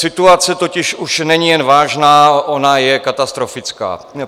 Situace totiž už není jen vážná, ona je katastrofická.